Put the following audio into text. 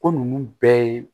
Ko ninnu bɛɛ ye